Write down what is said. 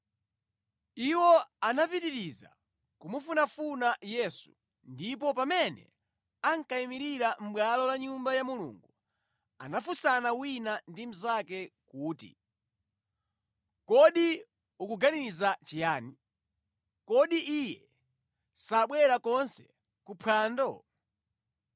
Iwo anapitiriza kumufunafuna Yesu, ndipo pamene ankayimirira mʼbwalo la Nyumba ya Mulungu anafunsana wina ndi mnzake kuti, “Kodi ukuganiza chiyani? Kodi Iye sabwera konse kuphwando?”